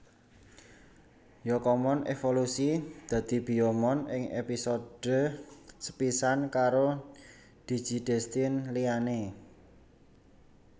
Yokomon evolusi dadi Biyomon ing episode sepisan karo DigiDestined liyane